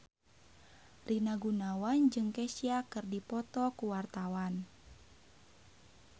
Rina Gunawan jeung Kesha keur dipoto ku wartawan